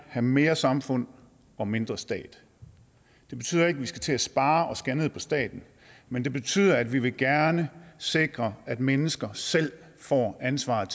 have mere samfund og mindre stat det betyder ikke at vi skal til at spare og skære ned på staten men det betyder at vi gerne sikre at mennesker selv får ansvaret